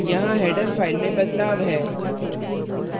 यहाँ header file में बदलाव है